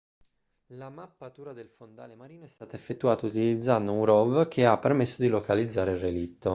la mappatura del fondale marino è stata effettuata utilizzando un rov che ha permesso di localizzare il relitto